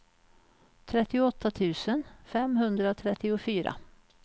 trettioåtta tusen femhundratrettiofyra